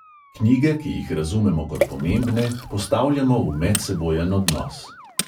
Knjige, ki jih razumemo kot pomembne, postavljamo v medsebojen odnos.